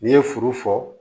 N'i ye furu fɔ